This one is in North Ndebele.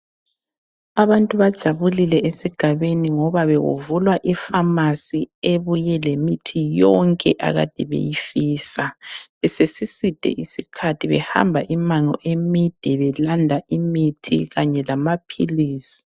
Abantu bajabulile esigabeni ngoba bekuvulwa ifamasi ebuye lemithi yonke akade beyifisa. Besesiside isikhathi behamba imango emide belanda imithi kanye lamaphilisi.